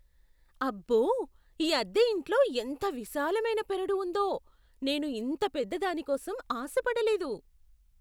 అబ్బో, ఈ అద్దె ఇంట్లో ఎంత విశాలమైన పెరడు ఉందో, నేను ఇంత పెద్ద దానికోసం ఆశ పడలేదు!